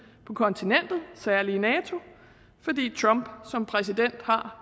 på kontinentet særlig i nato fordi trump som præsident har